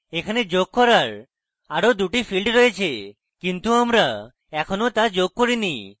এখানে যোগ করার আরো দুটি fields রয়েছে কিন্তু আমরা এখনো তা যোগ করিনি